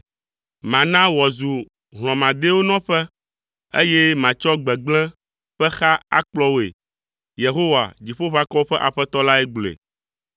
“Mana wòazu hlɔ̃madɛwo nɔƒe, eye matsɔ gbegblẽ ƒe xa akplɔ woe.” Yehowa, Dziƒoʋakɔwo ƒe Aƒetɔ lae gblɔe.